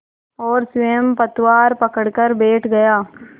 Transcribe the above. और स्वयं पतवार पकड़कर बैठ गया